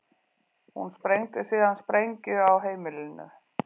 Hún sprengdi síðan sprengju á heimilinu